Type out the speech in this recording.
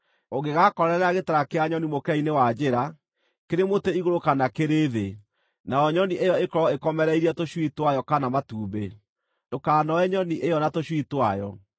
Ũngĩgaakorerera gĩtara kĩa nyoni mũkĩra-inĩ wa njĩra, kĩrĩ mũtĩ igũrũ kana kĩrĩ thĩ, nayo nyoni ĩyo ĩkorwo ĩkomereirie tũcui twayo kana matumbĩ, ndũkanoe nyoni ĩyo na tũcui twayo.